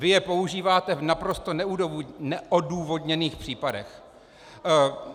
Vy je používáte v naprosto neodůvodněných případech.